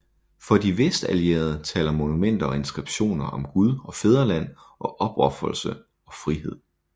For de Vestallierede taler monumenter og inskriptioner om Gud og fædreland og opofrelse og frihed